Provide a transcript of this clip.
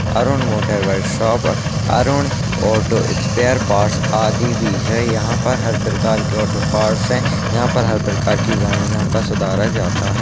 Arun motor bike workshop Arun auto spare parts आदि भी है यहाँ पर हर प्रकार का ऑटो पार्ट्स हैं यहाँ पर हर प्रकार का गाड़ियां का सुधारा जाता है।